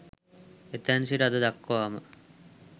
එතැන් සිට අද දක්වාම